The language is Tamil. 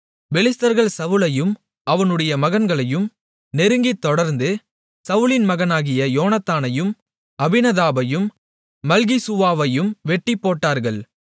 பெலிஸ்தர்கள் சவுலையும் அவனுடைய மகன்களையும் நெருங்கித் தொடர்ந்து சவுலின் மகனாகிய யோனத்தானையும் அபினதாபையும் மல்கிசூவாவையும் வெட்டிப்போட்டார்கள்